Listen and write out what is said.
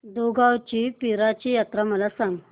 दुगावची पीराची यात्रा मला सांग